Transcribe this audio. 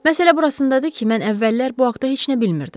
Məsələ burasındadır ki, mən əvvəllər bu haqda heç nə bilmirdim.